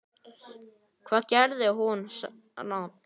Hvað gerði hún rangt?